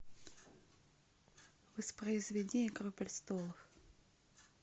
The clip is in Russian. воспроизведи игру престолов